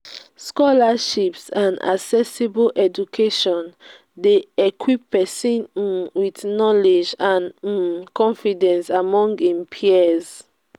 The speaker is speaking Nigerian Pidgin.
scholarships and accessible education de equip persin um with knowlegde and um confidence among him peers